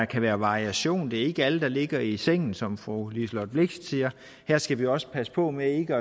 kan være variation det er ikke alle der ligger i sengen som fru liselott blixt siger her skal vi også passe på med ikke